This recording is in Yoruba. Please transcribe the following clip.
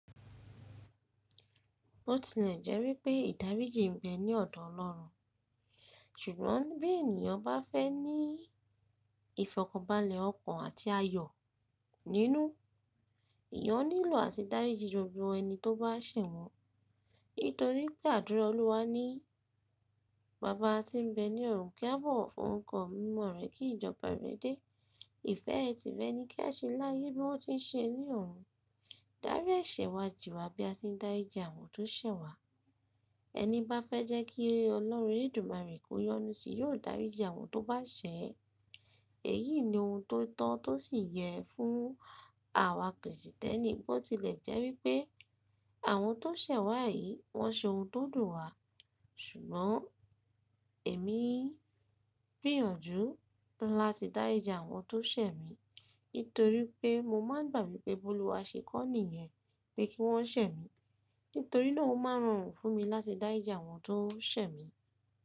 Bó tilẹ̀ jẹ́ wípé ìdáríjì ń bẹ ní ọ̀dọ̀ Ọlọ́run, ṣùgbọ́n bí ènìyàn bá fẹ́ ní ìfọ̀kọbalẹ̀ ọkàn àti ayọ̀ nínú, ìyẹn ó nílò àtìdájì gbogbo ẹni tó bá ṣẹ̀ wọ́n. Nítorí pé àdúrà Olúwa ní “Baba tí ń bẹ ní ọ̀run, kí a bọ̀ fún nǹkan mímọ́ rẹ kí ìjọba rẹ dé. Ìfẹ́ ẹ ti rẹ ni kí a ṣẹ́ láyé bí wọ́n ti ń ṣe ẹ ní ọ̀run. Dárí ẹ̀ṣẹ̀ wa jì wá bí a ti ń dáríji àwọn tó ṣẹ̀ wá.” Ẹni bá fẹ́ jẹ́ kí e Ọlọ́run eledumare kó yọnu sí yóò dáríji àwọn tó bá ṣẹ̀ ẹ́. Èyí ni ohun tó tọ́ tó sì yẹ fún àwa Krìsìtẹ́nì. Bó tilẹ̀ jẹ́ wípé àwọn tó ṣẹ̀ wá yìí wọ́n ṣe ohun tó dùn wá, ṣùgbọ́n èmi gbìyànjú láti dáríji àwọn tó ṣẹ̀ mi, nítorí pé mo máa ń gbà wípé Bólúwa ṣe kọ́ nìyẹn pé kí wọ́n ṣẹ̀ mi. Nítorí náà ó máa rán oòrùn fún mi láti dáríji àwọn tó ṣẹ̀ mi.